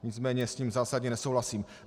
Nicméně s ním zásadně nesouhlasím.